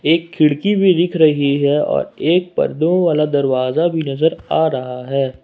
एक खिड़की भी दीख रही है और एक पर दो वाला दरवाजा भी नजर आ रहा है।